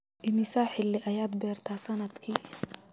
Immisa xilli ayaad beertaa sannadkii?